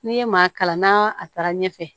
N'i ye maa kalan na a taara ɲɛfɛ